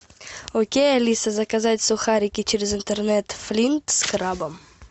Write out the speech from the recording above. окей алиса заказать сухарики через интернет флинт с крабом